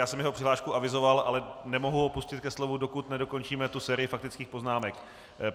Já jsem jeho přihlášku avizoval, ale nemohu ho pustit ke slovu, dokud nedokončíme tu sérii faktických poznámek.